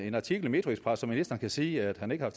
en artikel i metroxpress som ministeren kan sige han ikke har